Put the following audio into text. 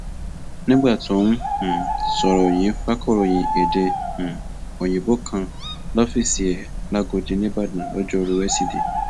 nígbà tó ń um sọrọ yìí fakọròyìn èdè um òyìnbó kan lọfíìsì ẹ làgọdì nííbàdàn lojoruu wesidee